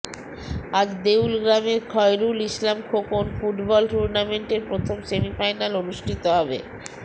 আজ দেউলগ্রামের খয়রুল ইসলাম খোকন ফুটবল টুর্নামেন্টের প্রথম সেমিফাইনাল অনুষ্ঠিত হবে